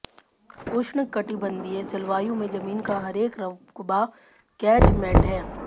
उष्णकटिबंधीय जलवायु में जमीन का हरेक रक्बा कैचमेंट है